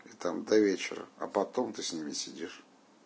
и там до вечера а потом ты с ними сидишь